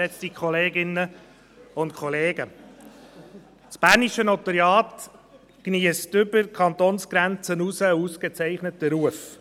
Das bernische Notariat geniesst über die Kantonsgrenzen hinaus einen ausgezeichneten Ruf.